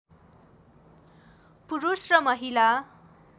पुरुष र महिला